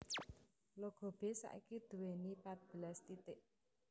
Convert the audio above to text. Logo b saiki duweni patbelas titik